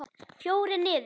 Fjórir niður!